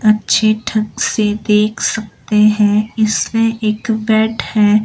अच्छे ढंग से देख सकते हैं इससे एक बेड है।